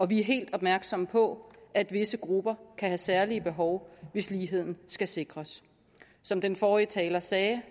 vi er helt opmærksomme på at visse grupper kan have særlige behov hvis ligheden skal sikres som den forrige taler sagde